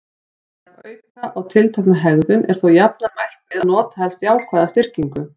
Ef auka á tiltekna hegðun er þó jafnan mælt með að nota helst jákvæða styrkingu.